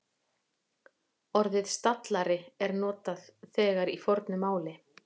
Orðið stallari er notað þegar í fornu máli.